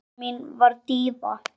Mamma mín var díva.